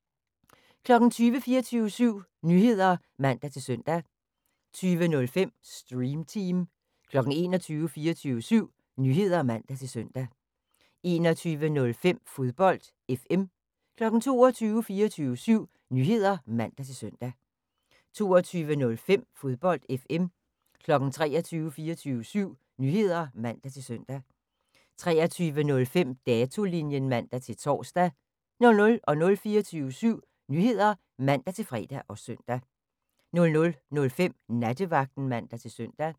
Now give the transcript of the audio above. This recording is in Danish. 20:00: 24syv Nyheder (man-søn) 20:05: Stream Team 21:00: 24syv Nyheder (man-søn) 21:05: Fodbold FM 22:00: 24syv Nyheder (man-søn) 22:05: Fodbold FM 23:00: 24syv Nyheder (man-søn) 23:05: Datolinjen (man-tor) 00:00: 24syv Nyheder (man-fre og søn) 00:05: Nattevagten (man-søn)